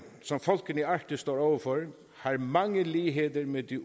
som folkene i arktis står over for har mange ligheder med de